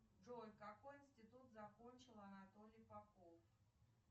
джой какой институт закончил анатолий попов